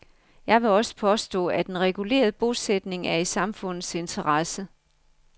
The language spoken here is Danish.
Jeg vil også påstå, at en reguleret bosætning er i samfundets interesse.